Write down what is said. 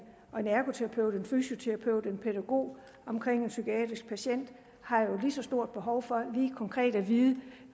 og en ergoterapeut en fysioterapeut og en pædagog omkring en psykiatrisk patient har jo et lige så stort behov for lige konkret at vide